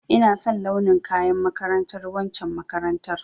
Ina son launin kayan makarantar waccen makarantar